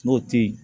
N'o te ye